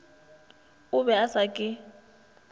o be a sa ke